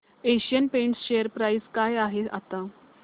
Asian Paints share price काय आहे आता